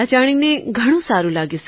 આ જાણીને ઘણું સારું લાગ્યું સર